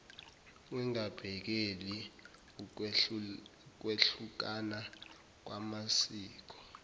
engabhekela ukwehlukana kwamasiko